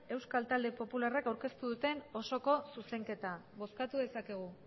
euskal talde popularrak aurkeztu duten osoko zuzenketa bozkatu dezakegu